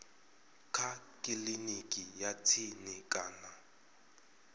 kha kiliniki ya tsini kana